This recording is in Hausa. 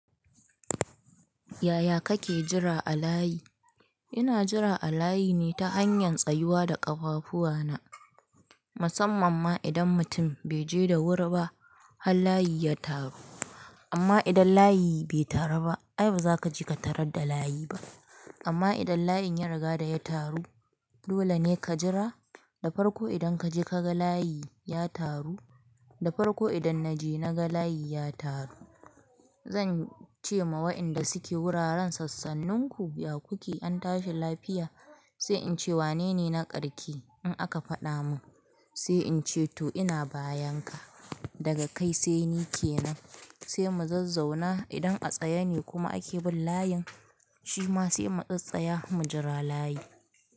Yaya kake jira a layi? Ina jira a layi ne ta hanyar tsayuwa da ƙafafuwana. Musamman ma idan mutum bai je da wuri ba har layi ya taru. Amma idan layi bai taru ba ai baza ka je ka tarar da layi ba. Amma idan layin ya riga da ya taru dole ne ka jira, da farko idan ka je ka ga layi ya taru, da farko idan na je na ga layi ya taru. Zan ce ma wa'inda suke wuraren sassanninku, ya kuke? An tashi lafiya. Sai in ce wanene na ƙarshe in aka faɗa mun. Sai in ce to ina bayan ka. Daga kai sai ni ke nan. Sai mu zazzauna idan a tsaye ne kuma ake bin layin shi mm tsatsaya mu jira layin.